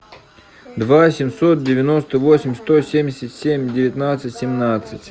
два семьсот девяносто восемь сто семьдесят семь девятнадцать семнадцать